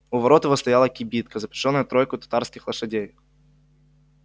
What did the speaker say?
у ворот его стояла кибитка запряжённая тройкою татарских лошадей